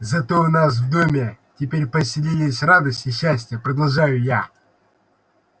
зато у нас в доме теперь поселились радость и счастье продолжаю я